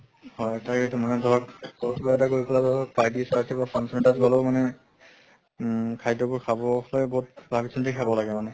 হয় তাকে টো মানে ধৰক কিবা এটা কৰি পালে ধৰক party চাৰ্তি বা function এটাৰ গলেও মানে উম খাদ্য়বোৰ খাবও সেই বহুত ভাবু চিন্তি খাব লাগে মানে।